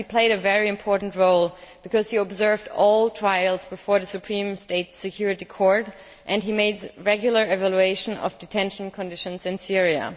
He played a very important role because he observed all trials before the Supreme State Security Court and made regular evaluations of detention conditions in Syria.